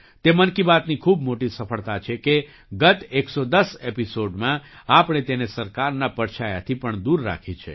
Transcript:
તે મન કી બાતની ખૂબ મોટી સફળતા છે કે ગત 11૦ એપિસૉડમાં આપણે તેને સરકારના પડછાયાથી પણ દૂર રાખી છે